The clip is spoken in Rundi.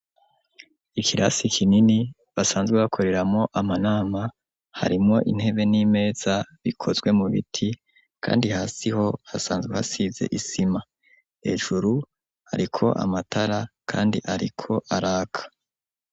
Ikirasi kinini basanzwe bakoreramo amanama harimwo intebe n'imeza bikozwe mu biti kandi hasi ho hasanzwe hasize isima hejuru ariko amatara kandi ariko araka.